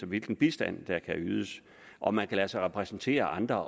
hvilken bistand der kan ydes om man kan lade sig repræsentere af andre